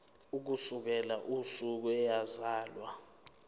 ukusukela usuku eyazalwa